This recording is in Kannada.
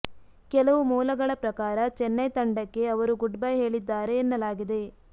ಕೆಲವು ಮೂಲಗಳ ಪ್ರಕಾರ ಚೆನ್ನೈ ತಂಡಕ್ಕೇ ಅವರು ಗುಡ್ ಬೈ ಹೇಳಿದ್ದಾರೆ ಎನ್ನಲಾಗಿದೆ